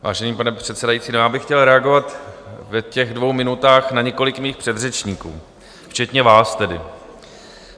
Vážený pane předsedající, já bych chtěl reagovat v těch dvou minutách na několik svých předřečníků, včetně vás tedy.